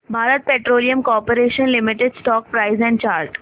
Bharat petroleum corporation limited stock price and chart